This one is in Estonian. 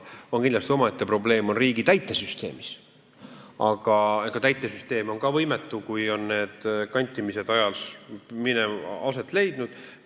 Kindlasti omaette probleem on riigi täitesüsteemis, aga täitesüsteem on ka võimetu, kui need kantimised on aset leidnud.